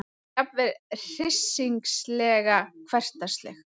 Jafnvel hryssingsleg, hversdagsleg.